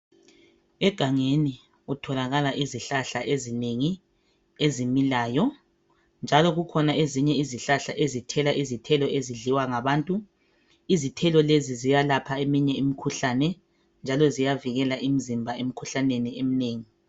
Egangeni kutholakala izihlahla ezinengi ezimilayo njalo kukhona izihlahla ezithela izithelo ezidliwa ngabantu. Izithelo lezi ziyalapha eminye imikhuhlane njalo ziyavikela imizimba emikhuhlaneni eminengi.